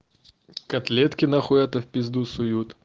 котлетки на хуй это в пизду суют